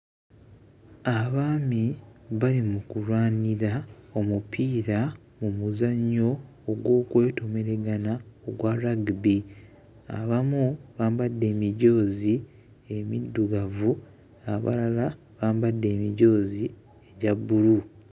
Abaami bali mu kulwanira omupiira mu muzannyo ogw'okwetomereŋŋana ogwa lagibe. Abamu bambadde emijoozi emiddugavu, abalala bambadde emijoozi gya bbulu.